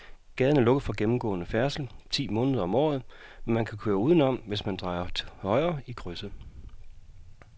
Gaden er lukket for gennemgående færdsel ti måneder om året, men man kan køre udenom, hvis man drejer til højre i krydset.